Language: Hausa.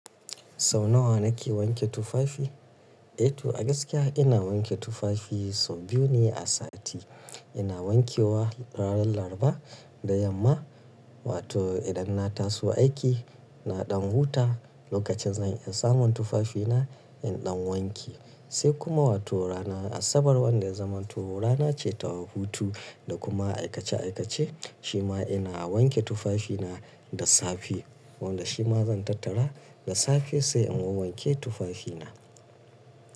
Sau nawa na ke wanke tufafi? Eh to a gaskiya ina wanke tufafi sau biyu ne a sati. Ina wanke wa ranan Laraba da Yamma. Wato idan na taso aiki, na ɗan huta, lokacin zan iya samun tufafina, in ɗan wanke. Sai kuma wato ranar Asabar wanda ya zaman to rana ce ta hutu da kuma aikace aikace shima ina wanke tufafina da safe. Wanda shima zan tattara da safe sai in wawwanke tufafina.